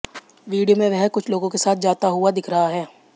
वीडियों में वह कुछ लोगों के साथ जाता हुआ दिख रहा है